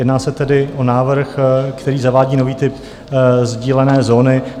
Jedná se tedy o návrh, který zavádí nový typ sdílené zóny.